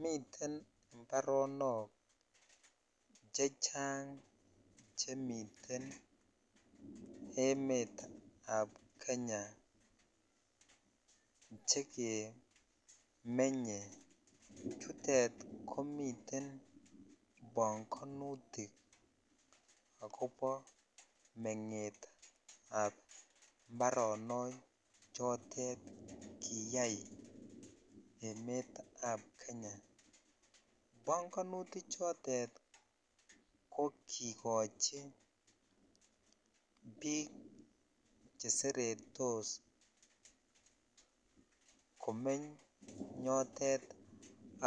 Miten imbaronok che chang chemiten emetab Kenya chekemenye. Chutet komiten panganitik agobo mengetab mbaronok chotet kiyai emetab Kenya. Panganutichotet ko kikochi biik cheseretos komeny yotet